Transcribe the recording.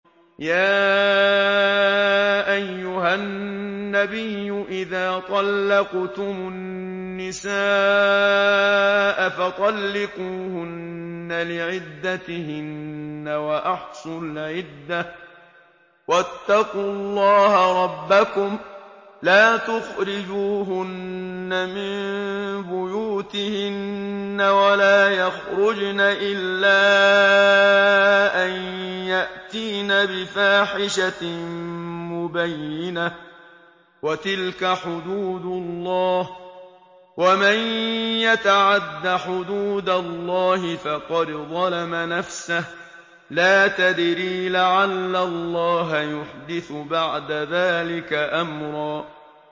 يَا أَيُّهَا النَّبِيُّ إِذَا طَلَّقْتُمُ النِّسَاءَ فَطَلِّقُوهُنَّ لِعِدَّتِهِنَّ وَأَحْصُوا الْعِدَّةَ ۖ وَاتَّقُوا اللَّهَ رَبَّكُمْ ۖ لَا تُخْرِجُوهُنَّ مِن بُيُوتِهِنَّ وَلَا يَخْرُجْنَ إِلَّا أَن يَأْتِينَ بِفَاحِشَةٍ مُّبَيِّنَةٍ ۚ وَتِلْكَ حُدُودُ اللَّهِ ۚ وَمَن يَتَعَدَّ حُدُودَ اللَّهِ فَقَدْ ظَلَمَ نَفْسَهُ ۚ لَا تَدْرِي لَعَلَّ اللَّهَ يُحْدِثُ بَعْدَ ذَٰلِكَ أَمْرًا